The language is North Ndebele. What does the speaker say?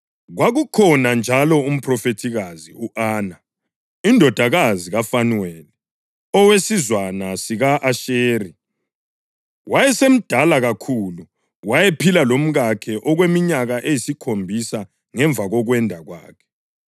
Kwakukhona njalo umphrofethikazi, u-Ana, indodakazi kaFanuweli, owesizwana sika-Asheri. Wayesemdala kakhulu: wayephile lomkakhe okweminyaka eyisikhombisa ngemva kokwenda kwakhe,